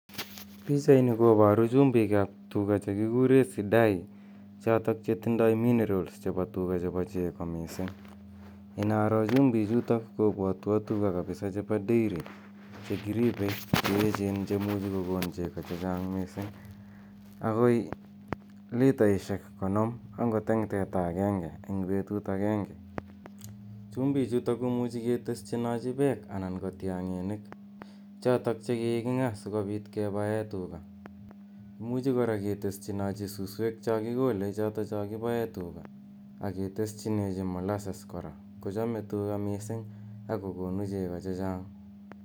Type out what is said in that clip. Pichaini koparu chumbiik ap tuga che kikure sidai chotok che tindai minerals chepo tuga chepo chego missing'. Inaro chumbichutok kopwatwa tuga chepo dairy che kiripei che echeen che muchi kokon chego che chang' missing' agoi litaishik konom agot eng' teta agenge eng' petut agenge. Chumbiichutok komuchi keteschinachi pek anan ko tiang'iniik chotok che kiking'aa si kopit ke pae tuga. Imuchi kora keteschinachi susweek cha kikole chotocho kipae tugaa, ake teschinachi molases kochame tuga missing' ago konu chego che chang'.